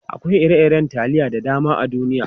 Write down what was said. Akwai ire-iren taliya da dama a duniya.